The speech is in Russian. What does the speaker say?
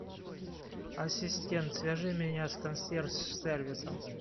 ассистент свяжи меня с консьерж сервисом